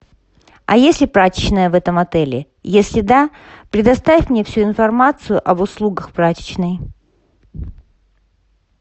а есть ли прачечная в этом отеле если да предоставь мне всю информацию об услугах прачечной